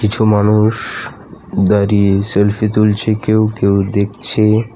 কিছু মানুষ দাঁড়িয়ে সেলফি তুলছে কেউ কেউ দেখছে .